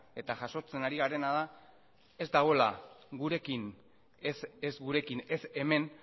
eta jasotzen ari garena da ez dagoela ez gurekin ez hemen